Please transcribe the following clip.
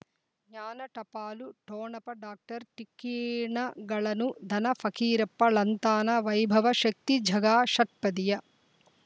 ಜ್ಞಾನ ಟಪಾಲು ಠೊಣಪ ಡಾಕ್ಟರ್ ಟಿಕ್ಕಿ ಣಗಳನು ಧನ ಫಕೀರಪ್ಪ ಳಂತಾನೆ ವೈಭವ್ ಶಕ್ತಿ ಝಗಾ ಷಟ್ಪದಿಯ